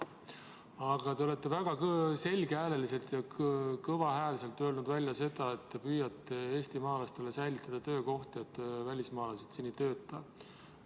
Aga te olete väga selge ja kõva häälega öelnud, et te püüate eestimaalastele säilitada töökohti sellega, et välismaalased siin ei töötaks.